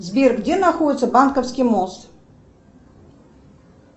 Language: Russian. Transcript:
сбер где находится банковский мост